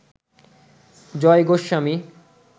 Joy Goswami